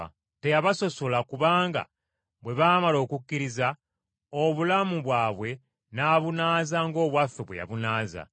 Teyabasosola kubanga bwe baamala okukkiriza, obulamu bwabwe n’abunaaza ng’obwaffe bwe yabunaaza.